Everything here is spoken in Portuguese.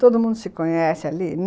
Todo mundo se conhece ali.